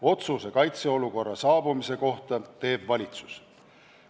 Otsuse kaitseolukorra tekke kohta teeb valitsus.